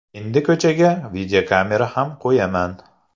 Endi ko‘chaga videokamera ham qo‘yaman.